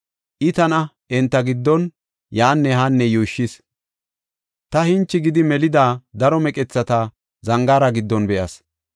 I tana enta giddon yaanne haanne yuushshis; ta hinchi gidi melida daro meqethata zangaara giddon be7as.